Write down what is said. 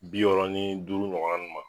Bi wɔɔrɔ ni duuru ɲɔgɔna nun ma.